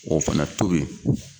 O fana tobi.